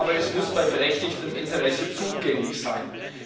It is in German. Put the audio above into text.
Aber es muss bei berechtigtem Interesse zugänglich sein.